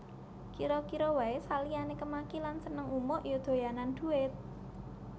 Kira kira wae saliyane kemaki lan seneng umuk ya doyanan dhuwit